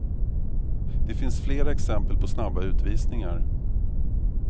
Det finns flera exempel på snabba utvisningar.